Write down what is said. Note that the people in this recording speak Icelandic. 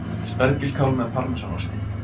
Spergilkál með parmesanosti